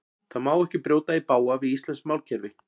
Það má ekki brjóta í bága við íslenskt málkerfi.